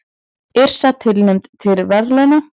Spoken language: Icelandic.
Yrsa tilnefnd til verðlauna